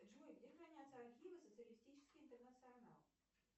джой где хранятся архивы социалистический интернационал